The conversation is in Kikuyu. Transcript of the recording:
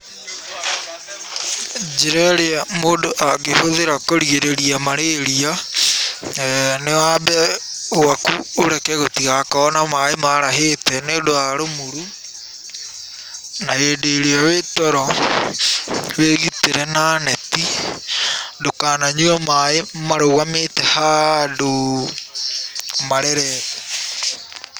Njĩra ĩrĩa mũndũ angĩhũthĩra kũgirĩrĩa marĩrĩa, nĩ wambe gwaku ũreke gũtigakorwo na maĩ marahĩte, nĩũndũ wa rumuru, na hĩndĩ ĩrĩa wĩ toro wĩgitĩre na neti, ndũkananyue maĩ marũgamĩte handũ marerete.